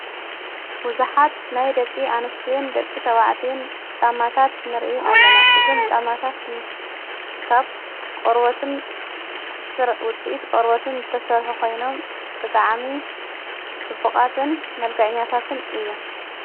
ውዙኃት ናይ ደቂ ኣንስትዩን ደቂ ተዋዕትኡን ጫማታት ንርኢ ኣለና እዞም ጫማታት ካብ ርወትን ሠውፅእት ቖርወትን እተሠርሒ ኾይኖም ብዓሚ ጽቡቓትን መልጋዕኛታትን እዮም።